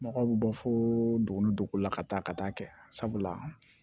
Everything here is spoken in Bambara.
Mɔgɔw bɛ bɔ fo duguni dogo la ka taa ka taa kɛ sabula